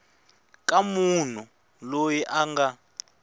ka munhu loyi a nga